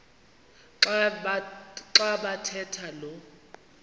xa bathetha lo